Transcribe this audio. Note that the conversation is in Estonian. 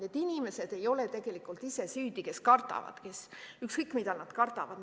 Need inimesed ei ole tegelikult ise süüdi, kes kardavad – ükskõik, mida nad kardavad.